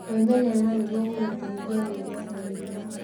Gwĩmenyerera nĩ gũgũgũteithia gwĩthema mĩrimũ.